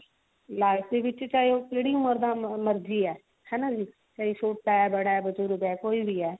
life ਦੀ ਚਾਹੇ ਉਹ ਜਿਹੜੀ ਮਰਜ਼ੀ ਹੈ ਹਨਾ ਵੀ ਚਾਹੇ ਛੋਟਾ ਹੈ ਬੜਾ ਹੈ ਬਜੁਰਗ ਹੈ ਕੋਈ ਵੀ ਹੈ